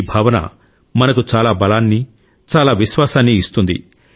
ఈ భావన మనకు చాలా బలాన్ని చాలా విశ్వాసాన్ని ఇస్తుంది